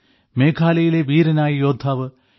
മേഘാലയയിലെ വീരനായ യോദ്ധാവ് യു